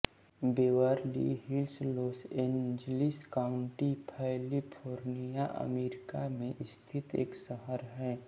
Beverly Hills Los Angeles County California America में स्थित एक शहर है